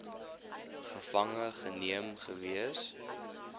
gevange geneem gewees